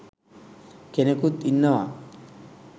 කෙනෙකුත් ඉන්නවා.